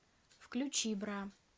включи бра